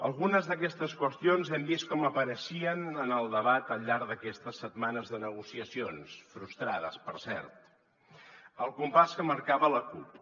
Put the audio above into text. algunes d’aquestes qüestions hem vist com apareixien en el debat al llarg d’aquestes setmanes de negociacions frustrades per cert al compàs que marcava la cup